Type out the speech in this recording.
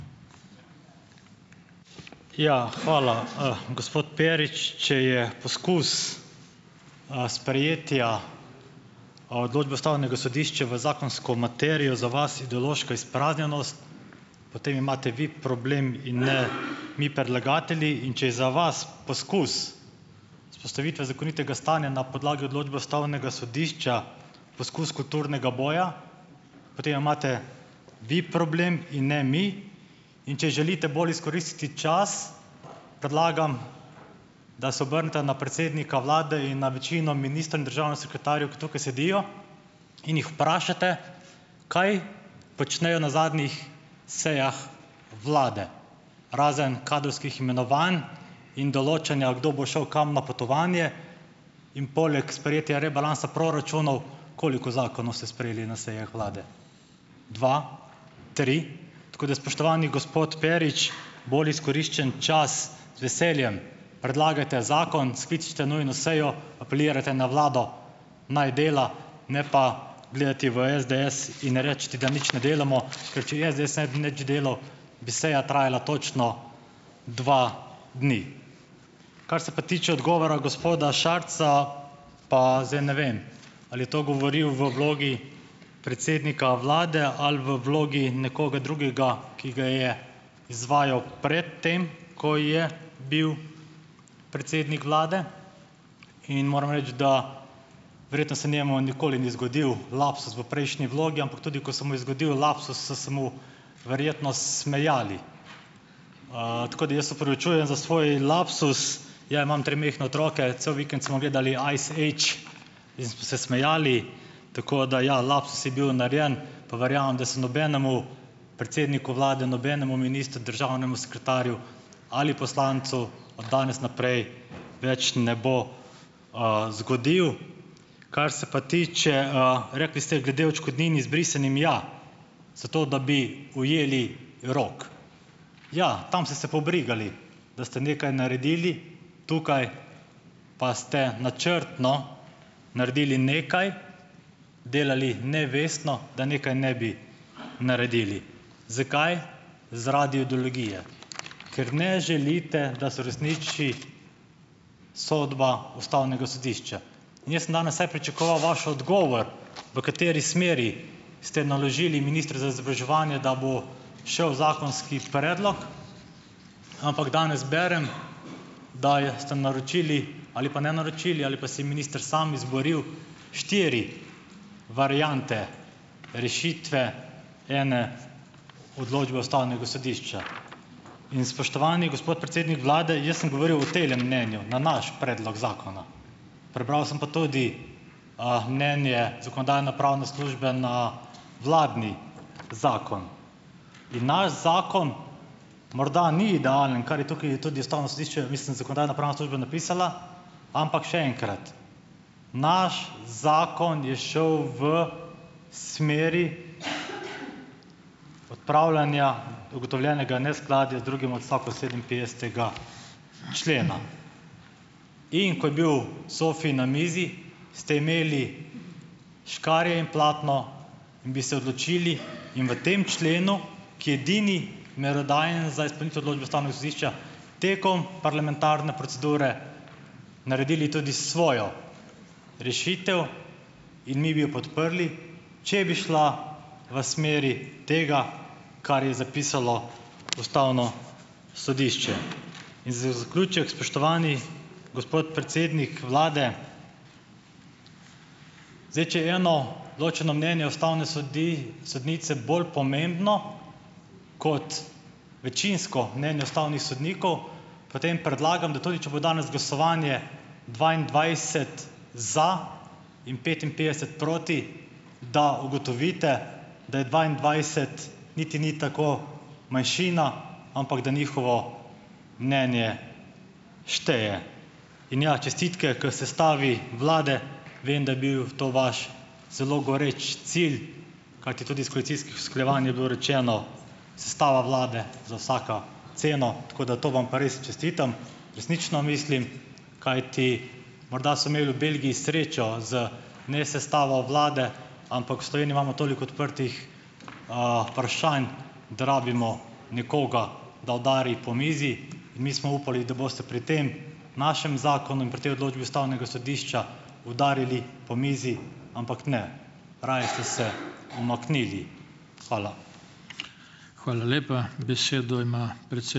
Ja, hvala. Gospod Perič, če je poskus, sprejetja, odločbe ustavnega sodišča v zakonsko materijo za vas ideološka izpraznjenost, potem imate vi problem in ne mi predlagatelji. In če je za vas poskus vzpostavitve zakonitega stanja na podlagi odločbe ustavnega sodišča poskus kulturnega boja, potem imate vi problem in ne mi. In če je želite bolj izkoristiti čas, predlagam, da se obrnete na predsednika vlade in na večino ministrov in državne sekretarjev, ki tukaj sedijo, in jih vprašate, kaj počnejo na zadnjih sejah vlade, razen kadrovskih imenovanj in določanja, kdo bo šel kam na potovanje, in poleg sprejetja rebalansa proračunov, koliko zakonov ste sprejeli na sejah vlade. Dva? Tri? Tako da spoštovani gospod Perič, bolj izkoriščen čas, z veseljem, predlagajte zakon, skličite nujno sejo, apelirajte na vlado, naj dela, ne pa gledati v SDS in reči, da nič ne delamo. Ker če SDS ne bi nič delal, bi seja trajala točno dva dni. Kar se pa tiče odgovora gospoda Šarca, pa zdaj ne vem, ali je to govoril v vlogi predsednika vlade ali v vlogi nekoga drugega, ki ga je izvajal pred tem, ko je bil predsednik vlade. In moram reči, da verjetno se njemu nikoli ni zgodil lapsus v prejšnji vlogi, ampak tudi ko se mu je zgodil lapsus, so se mu verjetno smejali. Tako, da jaz se opravičujem za svoj lapsus. Ja, imam tri majhne otroke, cel vikend smo gledali Ice Age in smo se smejali, tako da ja, lapsus je bil narejen, pa verjamem, da se nobenemu predsedniku vlade, nobenemu ministru, državnemu sekretarju ali poslancu od danes naprej več ne bo, zgodilo. Kar se pa tiče, rekli ste glede odškodnin izbrisanim, ja, zato da bi ujeli rok. Ja, tam ste se pobrigali, da ste nekaj naredili. Tukaj pa ste načrtno naredili nekaj, delali nevestno, da nekaj ne bi naredili. Zakaj? Zaradi ideologije. Ker ne želite, da se uresniči sodba ustavnega sodišča. In jaz sem danes vsaj pričakoval vaš odgovor, v kateri smeri ste naložili ministru za izobraževanje, da bo šel zakonski predlog, ampak danes berem, da je ste naročili, ali pa ne naročili, ali pa si je minister samo izboril štiri variante rešitve ene odločbe ustavnega sodišča. In spoštovani gospod predsednik vlade, jaz sem govoril o temle mnenju na naš predlog zakona. Prebral sem pa tudi, mnenje zakonodajno-pravne službe na vladni zakon. In naš zakon morda ni idealen, kar je tukaj tudi ustavno sodišče, mislim, zakonodajno-pravna služba napisala, ampak, še enkrat, naš zakon je šel v smeri odpravljanja ugotovljenega neskladja z drugim odstavkom sedeminpetdesetega člena, in ko je bil ZOFI na mizi, ste imeli škarje in platno, in bi se odločili in v tem členu, ki je edini merodajen za izpolnitev odločbe ustavnega sodišča, tekom parlamentarne procedure, naredili tudi svojo rešitev in mi bi jo podprli, če bi šla v smeri tega, kar je zapisalo ustavno sodišče. In za zaključek, spoštovani gospod predsednik vlade, zdaj, če je eno ločeno mnenje ustavne sodnice bolj pomembno kot večinsko mnenje ustavnih sodnikov, potem predlagam, da tudi če bo danes glasovanje dvaindvajset za in petinpetdeset proti, da ugotovite, da je dvaindvajset niti ni tako manjšina, ampak da njihovo mnenje šteje in ja, čestitke k sestavi vlade. Vem, da je bil to vaš zelo goreč cilj, kajti tudi s koalicijskih usklajevanj je bilo rečeno, sestava vlade za vsako ceno, tako da to vam pa res čestitam, resnično mislim, kajti, morda so imeli v Belgiji srečo z nesestavo vlade, ampak v Sloveniji imamo toliko odprtih, vprašanj, da rabimo nekoga, da udari po mizi, in mi smo upali, da boste pri tem našem zakonu in pri tej odločbi ustavnega sodišča udarili po mizi, ampak ne, raje ste se umaknili. Hvala.